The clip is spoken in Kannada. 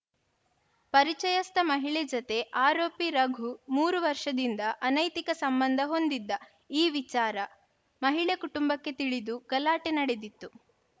ಪರಿಚಯಸ್ಥ ಮಹಿಳೆ ಜತೆ ಆರೋಪಿ ರಘು ಮೂರು ವರ್ಷದಿಂದ ಅನೈತಿಕ ಸಂಬಂಧ ಹೊಂದಿದ್ದ ಈ ವಿಚಾರ ಮಹಿಳೆ ಕುಟುಂಬಕ್ಕೆ ತಿಳಿದು ಗಲಾಟೆ ನಡೆದಿತ್ತು